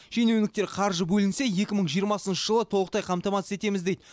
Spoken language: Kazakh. шенеуніктер қаржы бөлінсе екі мын жиырмасыншы жылы толықтай қамтамассыз етеміз дейді